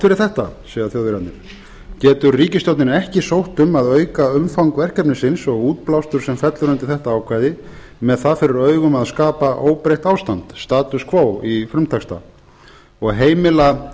fyrir þetta segja þjóðverjarnir getur ríkisstjórnin ekki sótt um að auka umfang verkefnisins og útblástur sem fellur undir þetta ákvæði með það fyrir augum að skapa óbreytt ástand og heimila